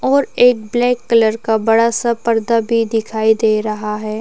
और एक black colour का बड़ा सा पर्दा भी दिखाई दे रहा है ।